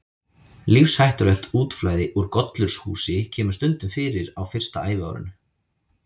Lífshættulegt útflæði úr gollurshúsi kemur stundum fyrir á fyrsta æviárinu.